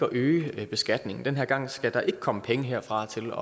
at øge beskatningen den her gang skal der ikke komme penge herfra til